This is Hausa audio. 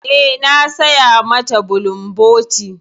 Eh, na saya mata bulumboti.